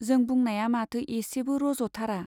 जों बुंनाया माथो एसेबो रज'थारा।